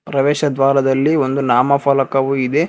ಪ್ರವೇಶ ದ್ವಾರದಲ್ಲಿ ಒಂದು ನಾಮಫಲಕವೂ ಇದೆ.